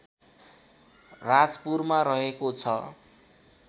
राजपुरमा रहेको छ